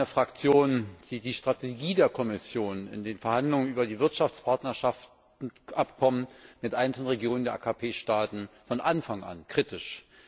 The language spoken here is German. Sie wissen, meine Fraktion sieht die Strategie der Kommission in den Verhandlungen über die Wirtschaftspartnerschaftsabkommen mit einzelnen Regionen der AKP Staaten von Anfang an kritisch.